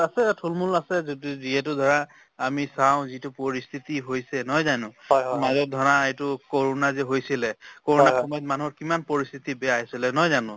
আছে থুলমুল আছে যদি যিহেতু ধৰা আমি চাওঁ যিটো পৰিস্থিতি হৈছে নহয় জানো to মাজত ধৰা এইটো ক'ৰোণা যে হৈছিলে ক'ৰোণাৰ সময়ত মানুহৰ কিমান পৰিস্থিতি বেয়া হৈছিলে নহয় জানো